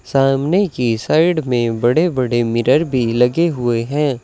सामने की साइड में बड़े बड़े मिरर भी लगे हुए हैं।